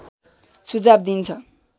सुझाव दिइन्छ